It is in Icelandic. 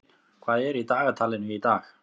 Sævin, hvað er í dagatalinu í dag?